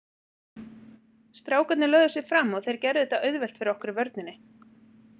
Strákarnir lögðu sig fram og þeir gerðu þetta auðvelt fyrir okkur í vörninni.